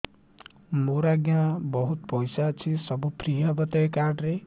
ମୋର ଆଜ୍ଞା ବହୁତ ପଇସା ଅଛି ସବୁ ଫ୍ରି ହବ ତ ଏ କାର୍ଡ ରେ